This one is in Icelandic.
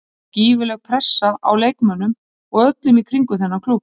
Það var gífurleg pressa á leikmönnum og öllum í kringum þennan klúbb.